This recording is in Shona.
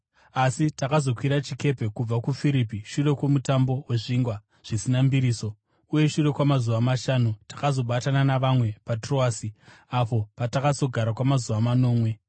Asi takazokwira chikepe kubva kuFiripi shure kwoMutambo weZvingwa Zvisina Mbiriso, uye shure kwamazuva mashanu takazobatana navamwe paTroasi, apo patakazogara kwamazuva manomwe.